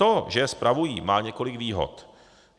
To, že je spravují, má několik výhod.